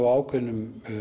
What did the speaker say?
á ákveðinni